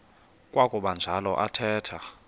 kwakuba njalo athetha